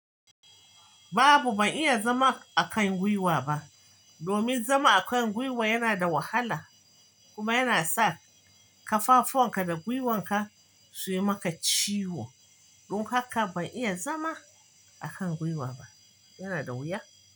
Babu, ban iya zama a kan gwiwa ba. Domin zama a kan gwiwa yana da wahala kuma yana sa kafafuwanka da gwiwanka suyi maka ciwo. Don haka ban iya zama a kan gwiwa ba. Yana da wuya?